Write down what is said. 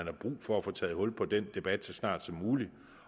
er brug for at få taget hul på den debat så snart som muligt